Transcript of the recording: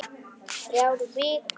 Þrjár vikur.